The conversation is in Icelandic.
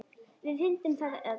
Við fundum það öll.